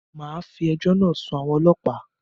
Màá fi ejọ́ náà sun àwọn ọlọ́pàá.